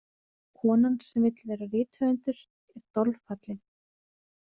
Konan sem vill vera rithöfundur er dolfallin.